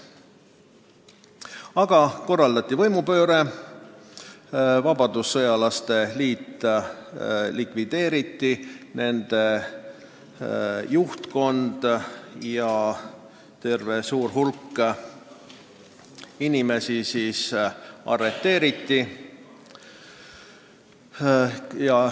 Aga korraldati võimupööre, vabadussõjalaste liit likvideeriti, selle juhtkond ja terve suur hulk muid inimesi arreteeriti.